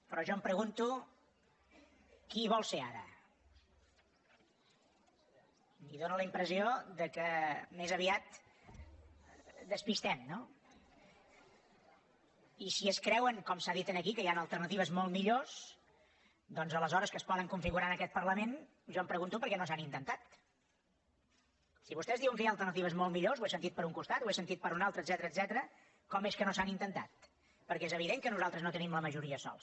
però jo em pregunto qui hi vol ser ara i em fa la impressió que més aviat despistem no i si es creuen com s’ha dit aquí que hi han alternatives molt millors doncs aleshores que es poden configurar en aquest parlament jo em pregunto per què no s’han intentat si vostès diuen que hi ha alternatives molt millors ho he sentit per un costat ho he sentit per un altre etcètera com és que no s’han intentat perquè és evident que nosaltres no tenim la majoria sols